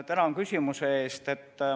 Tänan küsimuse eest!